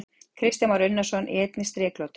Kristján Már Unnarsson: Í einni striklotu?